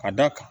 Ka da kan